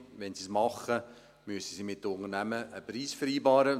Wenn sie es tun, müssen sie mit den Unternehmen einen Preis vereinbaren.